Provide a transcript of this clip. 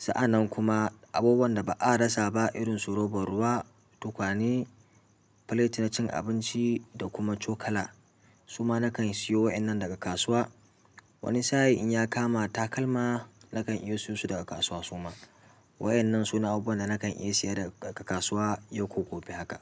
Sa'an nan kuma abubuwan da ba a rasa ba irin su robar ruwa, tukwane, filet na cin abinci da kuma cokala. Suma nakan sayo waƴannan daga kasuwa. Wani sa'in in ya kama takalma, na kan iya siyo su daga kasuwa su ma. Wa'inan suna abubuwan da na kan iya siya daga kasuwa yau ko gobe haka.